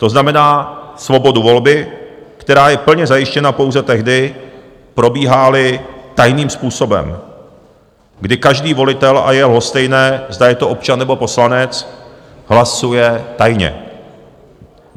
To znamená svobodu volby, která je plně zajištěna pouze tehdy, probíhá-li tajným způsobem, kdy každý volitel, a je lhostejné, zda je to občan, nebo poslanec, hlasuje tajně.